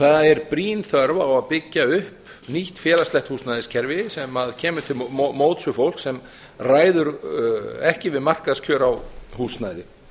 það er brýn þörf á að byggja upp nýtt félagslegt húsnæðiskerfi sem kemur til móts við fólk sem ræður ekki við markaðskjör á húsnæði